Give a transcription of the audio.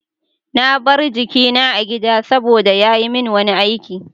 Na bar jikina a gida saboda ya yi min wani aiki.